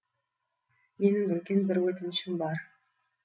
менің үлкен бір өтінішім бар